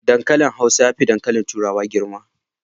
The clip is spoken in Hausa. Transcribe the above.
Dankalin hausa yafi dankali turai girma